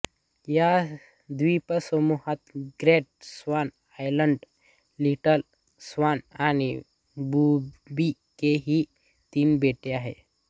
या द्वीपसमूहात Great Swan Island Little Swan आणि बूबी के ही तीन बेटे आहेत